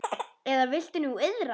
Eða viltu nú iðrast?